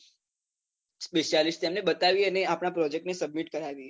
specialist તેને બતાવીએને અને આપણા project ને submit કરાવીએ